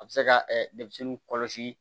A bɛ se ka denmisɛnninw kɔlɔsi